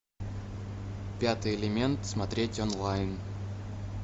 пятый элемент смотреть онлайн